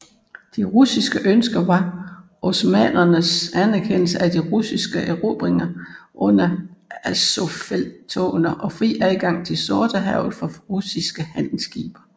De russiske ønsker var osmannernes anerkendelse af de russiske erobringer under Azovfelttogene og fri adgang til Sortehavet for russiske handelsskibe